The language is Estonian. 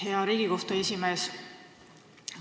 Hea Riigikohtu esimees!